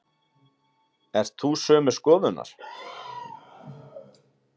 Ert þú sömu skoðunar?